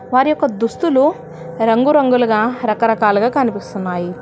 వారి యొక్క దుస్తులు రంగురంగులుగా రకరకాలుగా కనిపిస్తున్నాయి.